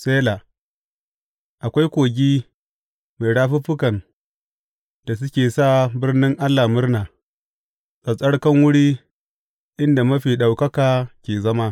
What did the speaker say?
Sela Akwai kogi mai rafuffukan da suke sa birnin Allah murna, tsattsarkan wuri inda Mafi Ɗaukaka ke zama.